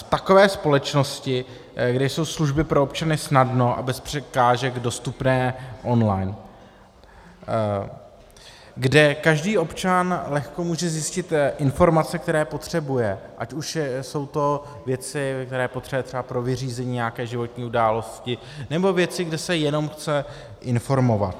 V takové společnosti, kde jsou služby pro občany snadno a bez překážek dostupné online, kde každý občan lehko může zjistit informace, které potřebuje, ať už jsou to věci, které potřebuje třeba pro vyřízení nějaké životní události, nebo věci, kde se jenom chce informovat.